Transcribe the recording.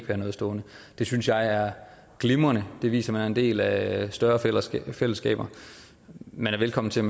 have noget stående det synes jeg er glimrende det viser at man er en del af større fællesskaber fællesskaber man er velkommen til